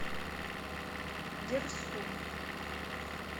дерсу